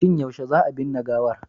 Shin yaushe za a binne gawar?